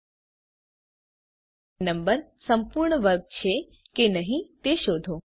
આપેલ નંબર સંપૂર્ણ વર્ગ છે કે નહી તે શોધો